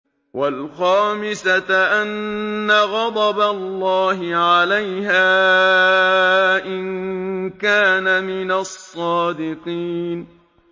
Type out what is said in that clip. وَالْخَامِسَةَ أَنَّ غَضَبَ اللَّهِ عَلَيْهَا إِن كَانَ مِنَ الصَّادِقِينَ